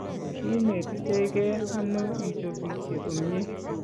kiinetitegei ano ichopisie komye?